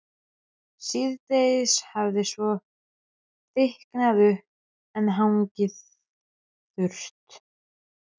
Síðdegis hafði svo þykknað upp en hangið þurrt.